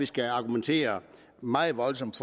skal argumenteres meget voldsomt